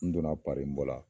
N donna pari n bɔla